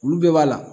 Olu bɛɛ b'a la